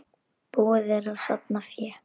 Búið er að safna fé.